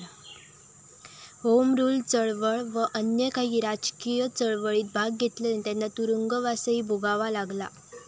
Home Rule चळवळ व अन्य काही राजकीय चळवळीत भाग घेतल्याने त्यांना तुरुंगवासही भोगावा लागला.